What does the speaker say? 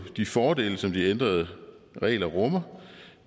de fordele som de ændrede regler rummer